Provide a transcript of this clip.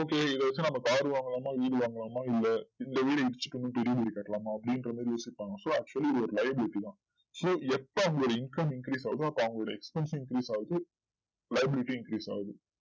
சரி okay இப்போ வந்து நம் car வாங்கலாமா வீடு வாங்கலாமா இல்ல இந்த வீடு இடிச்சுட்டு இன்னு பெரிய வீடு கட்டலாமா அப்டின்றமாதிரி யோசிப்பாங்க so actually இது ஒரு live duty தான் so இப்போ அவங்க income increase ஆகுதோ அவங்களோட expenses increase ஆகுது liability increase ஆகுது